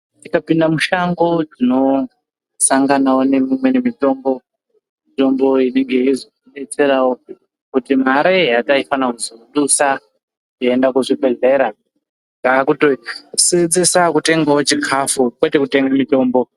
Tikapinda mushango tinosanganao nemimweni mitombo mitombo inenge yeizotidetserao kuti mare yataifana kuzodusa yeienda kuzvibhedhlera taakutosenzesa kutenga chikafu kwete kutenga mitombo.